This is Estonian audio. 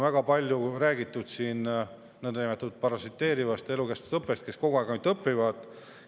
Väga palju on räägitud nõndanimetatud parasiteerivast elukestvast õppest, nendest, kes kogu aeg ainult õpivad.